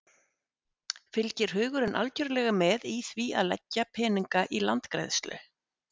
Fylgir hugurinn algjörlega með í því að leggja peninga í landgræðslu?